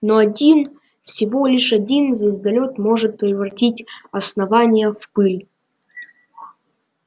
но один всего лишь один звездолёт может превратить основание в пыль